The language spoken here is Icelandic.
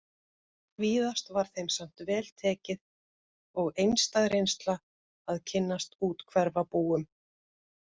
Víðast var þeim samt vel tekið og einstæð reynsla að kynnast úthverfabúum